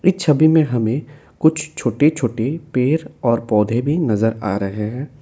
इस छवि में हमें कुछ छोटे छोटे पेड़ और पौधे भी नजर आ रहे हैं।